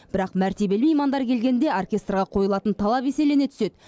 бірақ мәртебелі меймандар келгенде оркестрге қойылатын талап еселене түседі